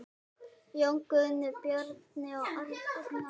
Jón Guðni, Bjarni og Agnar.